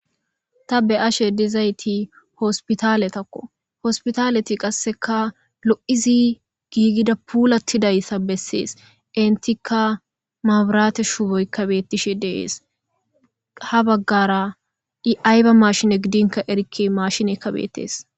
Ta be ashe dizayti hospitale takko hospitaleti qasseka lo'izi giigida puulatidayssa bessees intika maaburate shuuboykabeettishe dees ha baggara i ayba mashine gidinka erikke mashine kabeetees.